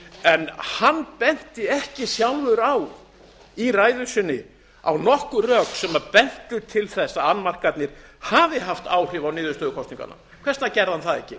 en hann benti ekki sjálfur í ræðu sinni á nokkur rök sem bentu til þess að annmarkarnir hafi haft áhrif á niðurstöður kosninganna hvers vegna gerði hann það ekki